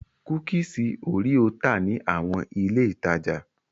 Kúkísì òréò tà ní àwọn ilé-ìtajà.